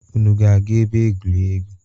Unu ga-aga ebe egwuregwu?